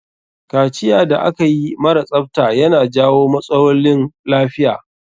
Kaciyar da akayi mara tsafta ya na jawo matsaolin lafiya.